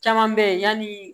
Caman bɛ yen yani